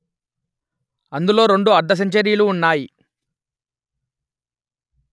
అందులో రెండు అర్థసెంచరీలు ఉన్నాయి